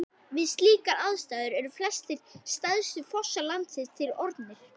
Við slíkar aðstæður eru flestir stærstu fossar landsins til orðnir.